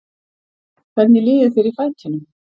Hvernig líður þér í fætinum?